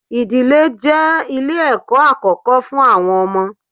Ìdílé je ilẹ̀ ẹ̀kọ́ àkókó fún àwọn ọmọ.